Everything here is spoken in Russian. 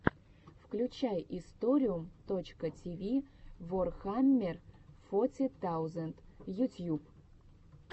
включай историум точка тиви ворхаммер фоти таузенд ютьюб